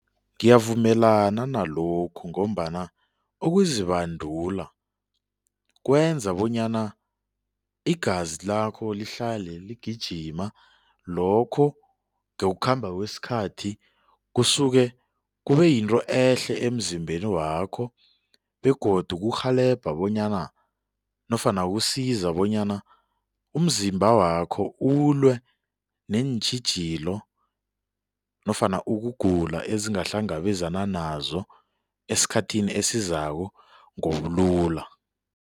Ngiyavumelana nalokhu ngombana ukuzibandula kwenza bonyana igazi lakho lihlale ligijima lokho ngokukhamba kwesikhathi kusuke kube yinto ehle emzimbeni wakho begodu kurhelebha bonyana nofana kusiza bonyana umzimba wakho ulwe neentjhijilo nofana ukugula ezingahlangabezana nazo esikhathini esizako ngobulula.